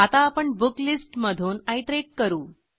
आता आपण book list मधून आयटरेट करू